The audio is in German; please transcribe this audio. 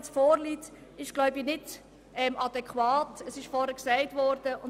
Was hier vorliegt, ist aber nicht adäquat, wie dies vorhin erwähnt worden ist.